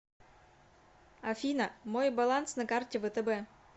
афина мой баланс на карте втб